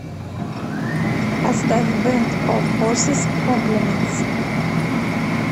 поставь бэнд оф хорсес комплиментс